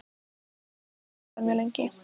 Býst ekki við að verða mjög lengi.